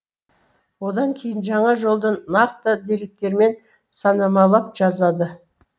одан кейін жаңа жолдан нақты деректермен санамалап жазады